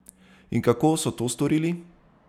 In kako so to storili?